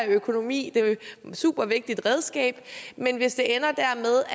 økonomi er et supervigtigt redskab